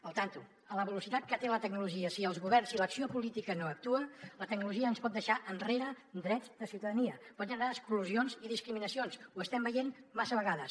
al tanto a la velocitat que té la tecnologia si els governs si l’acció política no actuen la tecnologia ens pot deixar enrere en drets de ciutadania pot generar exclusions i discriminacions ho estem veient massa vegades